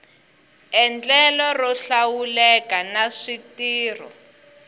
endlelo ro hlawuleka na switirho